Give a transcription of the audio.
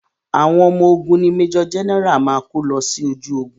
Àwọn ọmọ ogun ni Major general máa kó lọ sójú ogun.